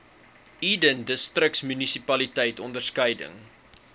eden distriksmunisipaliteit onderskeidelik